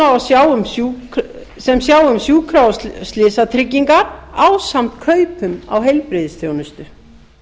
sem sjái um sjúkra og slysatryggingar ásamt kaupum á heilbrigðisþjónustu